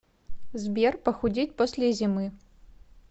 сбер похудеть после зимы